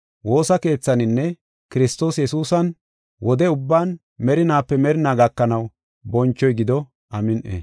woosa keethaninne Kiristoos Yesuusan wode ubban merinaape merinaa gakanaw bonchoy gido. Amin7i.